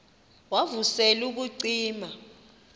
wav usel ubucima